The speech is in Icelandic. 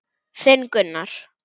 Þinn, Gunnar.